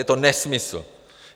Je to nesmysl.